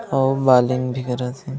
और वालीम भी करत हे।